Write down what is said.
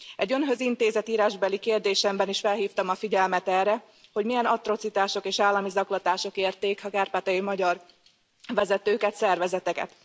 Egy Önhöz intézett írásbeli kérdésemben is felhívtam a figyelmet erre, hogy milyen atrocitások és állami zaklatások érték a kárpátaljai magyar vezetőket, szervezeteket.